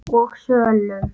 og sölum.